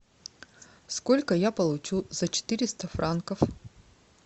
сколько я получу за четыреста франков